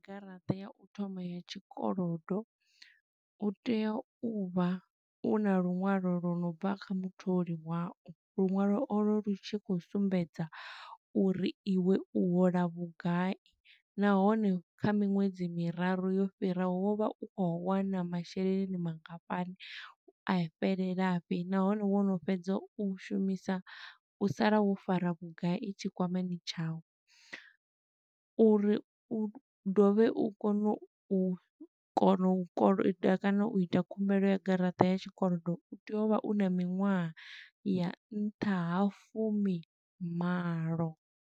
Garaṱa ya u thoma ya tshikolodo, u tea u vha u na luṅwalo lwa no bva kha mutholi wau. Luṅwalo o lwo lu tshi khou sumbedza uri iwe u hola vhugai, nahone kha miṅwedzi miraru yo fhiraho, wo vha u khou wana masheleni mangafhani, a fhelela fhi. Nahone wono fhedza u shumisa, u sala wo fara vhugai tshikwamani tshau. Uri u dovhe u kone u kona u koloda kana u ita khumbelo ya garaṱa ya tshikolodo, u tea u vha u na miṅwaha ya nṱha ha fumi malo.